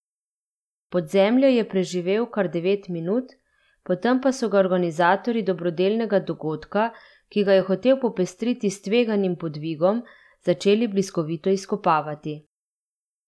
Pod zemljo je preživel kar devet minut, potem pa so ga organizatorji dobrodelnega dogodka, ki ga je hotel popestriti s tveganim podvigom, začeli bliskovito izkopavati.